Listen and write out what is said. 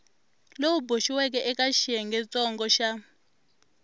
lowu boxiweke eka xiyengentsongo xa